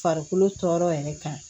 Farikolo tɔɔrɔ yɛrɛ kan